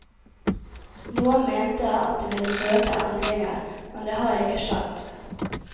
Noen mente at det ville føre til endringer, men det har ikke skjedd.